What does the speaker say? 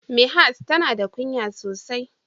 Mihas tana da ƙunya sosai.